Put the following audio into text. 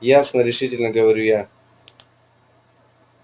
ясно решительно говорю я